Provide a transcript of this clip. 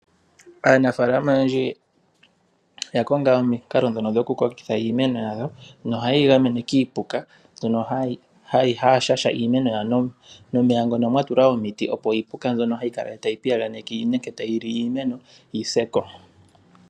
Aanafaalama oyendji oya konga omikalo ndhono dho ku kokitha iimeno yawo no hayeyi gamene kiipuka. haya shasha iimeno yawo nomeya ngono mwatulwa omiti opo iipuka mbyono hayi kala tayi piyaganeke nenge tayili iimeno yiseko.